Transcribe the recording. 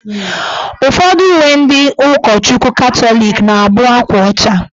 Ufọdụ uwe ndị ụkọchukwu katọlịk na abụ akwa ọcha